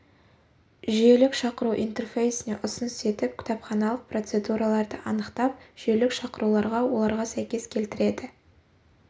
жүйелік шақыру интерфейсіне ұсыныс етіп кітапханалық процедураларды анықтап жүйелік шақыруларға оларға сәйкес келтіреді